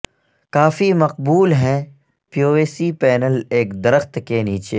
کافی مقبول ہیں PVC panel ایک درخت کے نیچے